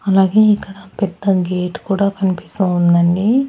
అలాగే ఇక్కడ పెద్ద గేట్ కూడా కనిపిస్తూ ఉందండి.